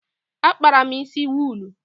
Akpara m isi wuulu.